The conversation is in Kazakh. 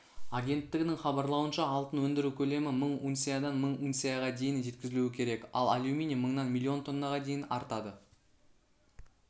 агенттігінің хабарлауынша алтын өндіру көлемі мың унциядан мың унцияға дейін жеткізілуі керек ал алюминий мыңнан миллион тоннаға дейін артады